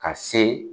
Ka se